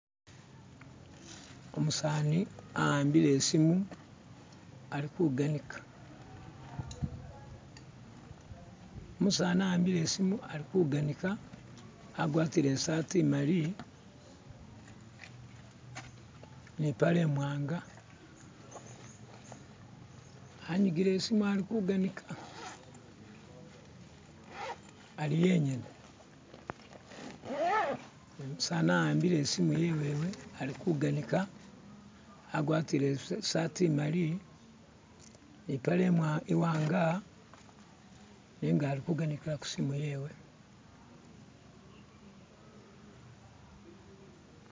Umusani ahambile isimu alikuganika Umusani ahambile isimu alikuganika agwatile isaati imali nipale imwanga anyigile isimu ali kuganika ali yenyene umusani awambile isimu yewewe alikuganika agwatile isaati imali nipale imwa iwanga nenga alikuganikila kusimu yewe